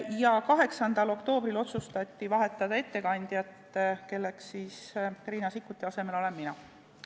Ja 8. oktoobril otsustati vahetada ettekandjat, nii et nüüd olen siin Riina Sikkuti asemel mina.